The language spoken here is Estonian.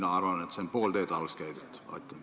Mina arvan, et meil on käidud alles pool teed.